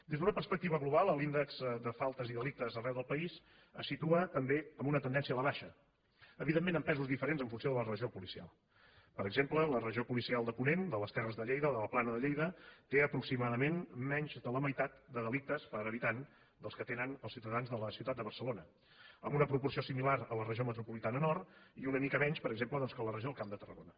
des d’una perspectiva global l’índex de faltes i delictes arreu del país se situa també en una tendència a la baixa evidentment amb pesos diferents en funció de la regió policial per exemple la regió policial ponent de les terres de lleida de la plana de lleida té aproximadament menys de la meitat de delictes per habitant dels que tenen els ciutadans de la ciutat de barcelona amb una proporció similar a la regió metropolitana nord i una mica menys per exemple doncs que a la regió camp de tarragona